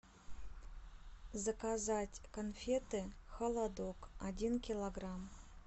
заказать конфеты холодок один килограмм